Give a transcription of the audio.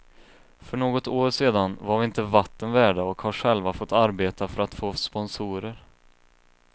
För något år sedan var vi inte vatten värda och har själva fått arbeta för att få sponsorer.